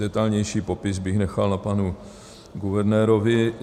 Detailnější popis bych nechal na panu guvernérovi.